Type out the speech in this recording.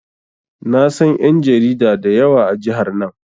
Na san ƴan jarida da yawa a jihar nan.